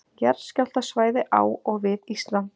Jarðskjálftasvæði á og við Ísland.